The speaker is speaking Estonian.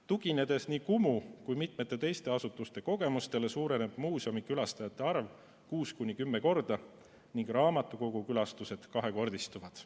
Tuginedes nii Kumu kui ka mitme teise asutuse kogemustele, võib öelda, et muuseumikülastajate arv kuus suureneb kuni 10 korda ning raamatukogukülastused kahekordistuvad.